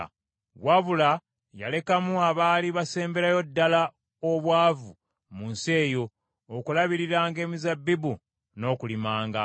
Wabula yalekamu abaali basemberayo ddala obwavu mu nsi eyo, okulabiriranga emizabbibu n’okulimanga.